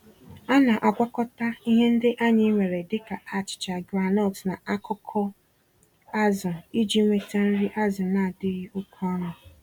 Ana-agwakọta ihe ndị anyị nwere dịka achicha groundnut na akụkụ azụ iji nweta nri azụ nadịghị oké ọnụ.